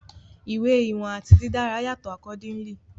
Iwe iwọn ati didara yatọ accordingly